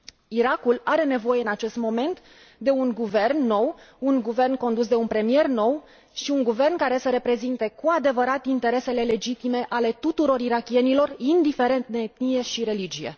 Irakul are nevoie în acest moment de un guvern nou, un guvern condus de un premier nou și un guvern care să reprezinte cu adevărat interesele legitime ale tuturor irakienilor, indiferent de etnie și religie.